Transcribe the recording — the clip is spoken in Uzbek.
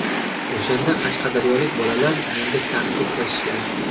O‘shanda qashqadaryolik bolalar menga tahdid qilishgan.